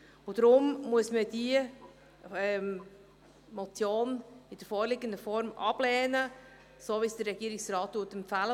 Deshalb muss man diese Motion in der vorliegenden Form ablehnen, so wie es der Regierungsrat empfiehlt.